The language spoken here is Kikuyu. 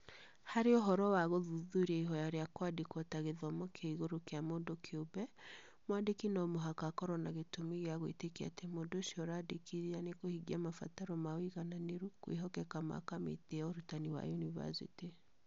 Harĩ ũhoro wa gũthuthuria ihoya rĩa kũandĩkwo ta gĩthomo kĩa igũrũ kĩa mũndũ kĩũmbe, mwandĩki no mũhaka akorũo na gĩtũmi gĩa gwĩtĩkia atĩ mũndũ ũcio ũraandĩkithia nĩekũhingia mabataro ma ũigananĩru kwĩhokeka ma Kamĩtĩ ya Ũrutani wa Yunivasĩtĩ.